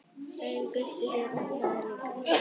Sagði Gutti þér það líka?